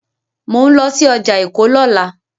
Mò ń lọ sí ọjà Èkó lọ́la.